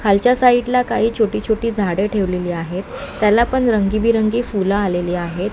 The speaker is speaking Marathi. खालच्या साईड ला काही छोटी छोटी झाडं ठेवलेली आहेत त्याला पण रंगबिरंगी फुल आलेली आहेत.